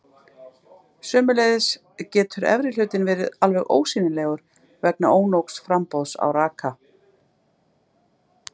Sömuleiðis getur efri hlutinn verið alveg ósýnilegur vegna ónógs framboðs á raka.